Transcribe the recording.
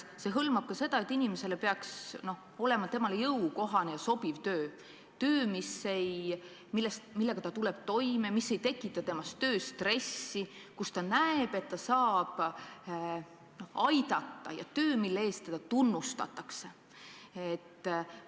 See hõlmab ka seda, et inimesel peaks olema talle jõukohane ja sobiv töö, töö, millega ta tuleb toime, mis ei tekita temas tööstressi, mille puhul ta näeb, et ta saab aidata ja teda tunnustatakse selle töö eest.